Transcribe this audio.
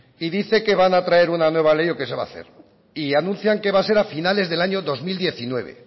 dice que van a traer una nueva ley o que se va a hacer y anuncian que va a ser a finales del año dos mil diecinueve